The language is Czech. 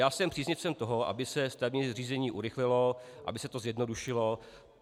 Já jsem příznivcem toho, aby se stavební řízení urychlilo, aby se to zjednodušilo.